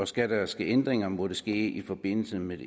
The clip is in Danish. skal der ske ændringer må det ske i forbindelse med